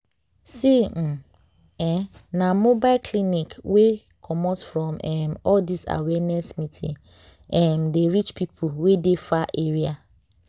see um eeh na mobile clinic wey comot from um all this awareness meeting um dey reach people wey dey far area.